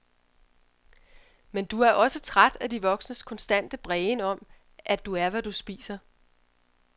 Men du er også træt af de voksnes konstante brægen om, at du er hvad du spiser.